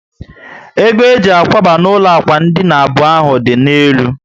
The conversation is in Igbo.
Ego eji akwaba n'ụlọ ákwà dina abụọ ahụ dị na elu